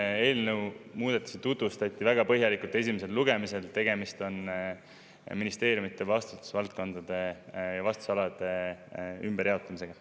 Selle eelnõu muudatust tutvustati väga põhjalikult esimesel lugemisel, tegemist on ministeeriumide vastutusvaldkondade ja vastutusalade ümberjaotamisega.